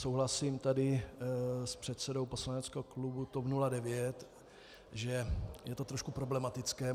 Souhlasím tady s předsedou poslaneckého klubu TOP 09, že je to trošku problematické.